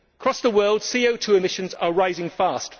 Across the world CO 2 emissions are rising fast.